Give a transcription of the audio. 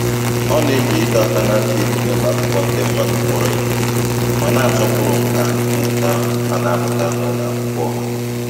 Ọ na-eji ịdọ aka ná ntị dị n'ụlọ akwụkwọ ndị mmadụ kpọrọ ihe, ma na-asọpụrụ nkà mmụta a na-amụta na ụlọ akwụkwọ ọha.